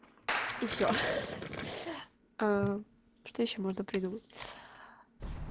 и все а что ещё можно придумать